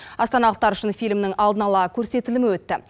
астаналықтар үшін фильмнің алдын ала көрсетілімі өтті